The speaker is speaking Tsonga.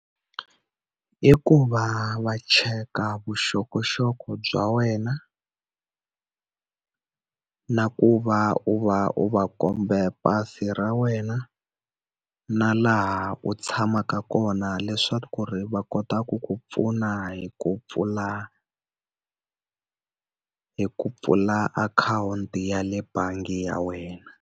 I ku va va cheka vuxokoxoko bya wena, na ku va u va u va kombe pasi ra wena, u na laha u tshamaka kona leswaku ri va kotaka ku pfuna hi ku pfula hi ku pfula akhawunti ya le bangi ya wena.